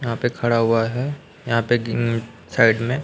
यहां पे खड़ा हुआ है यहां पे ऊं साइड में--